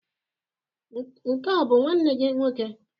Nke a ọ bụ nwanne gị nwoke?